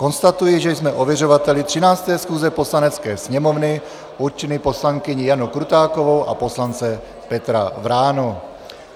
Konstatuji, že jsme ověřovateli 13. schůze Poslanecké sněmovny určili poslankyni Janu Krutákovou a poslance Petra Vránu.